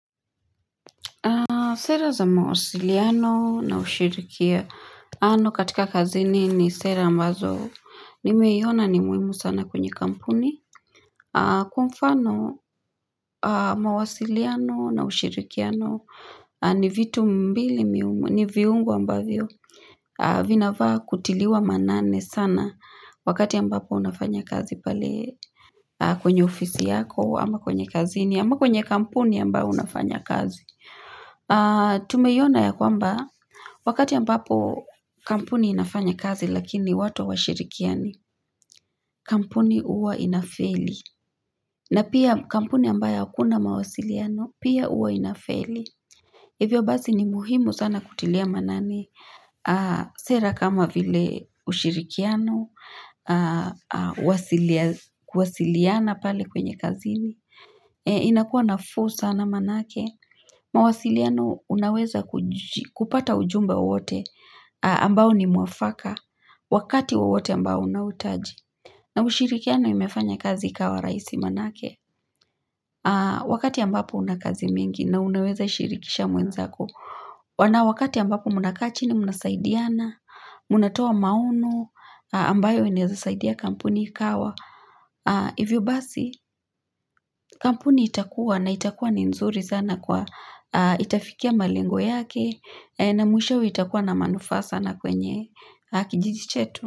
Sera za mawasiliano na ushirikiaano katika kazini ni sera ambazo nimeiona ni muhimu sana kwenye kampuni. Kwa mfano mawasiliano na ushirikiano ni vitu mbili mihumu, ni viungo ambavyo vinafaa kutiliwa maanane sana wakati ambapo unafanya kazi pale kwenye ofisi yako ama kwenye kazini ama kwenye kampuni ambayo unafanya kazi. Tumeyiona ya kwamba wakati ambapo kampuni inafanya kazi lakini watu hawashirikiani kampuni huwa inafeli na pia kampuni ambayo hakuna mawasiliano pia huwa inafeli Hivyo basi ni muhimu sana kutilia maanani Sera kama vile ushirikiano kuwasiliana pale kwenye kazini inakua nafuu sana maanake mawasiliano unaweza kuji kupata ujumbe wowote ambao ni mwafaka Wakati wowote ambao unahuitaji na ushirikiano imefanya kazi ikawa rahisi maanake Wakati ambapo una kazi mingi na unaweza shirikisha mwenzako wana wakati ambapo mnaka chini mnasaidiana Mnatoa maono ambayo inaeza saidia kampuni ikawa Hivyo basi kampuni itakuwa na itakuwa ni nzuri sana kwa itafikia malengo yake na mwishowe itakuwa na manufaa sana kwenye kijiji chetu.